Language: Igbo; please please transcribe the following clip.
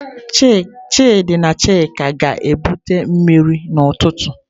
Chidi na chika ga-ebutere mmiri n'ututu.